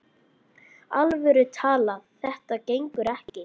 alvöru talað: þetta gengur ekki!